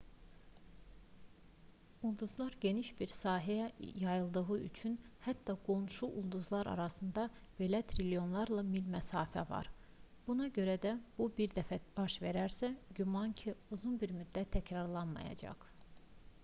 ulduzlar geniş bir sahəyə yayıldığı üçün hətta qonşu ulduzlar arasında belə trilyonlarla mil məsafə var buna görə də bu bir dəfə baş verərsə güman ki uzun bir müddət təkrarlanmayacaq